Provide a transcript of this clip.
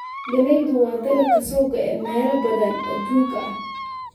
Galleydu waa dalag ka soo go'ay meelo badan oo adduunka ah.